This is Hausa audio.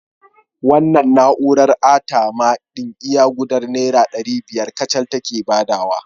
Wannan na'urar ATM ɗin iya gudar Naira ɗari biyar kacal take badawa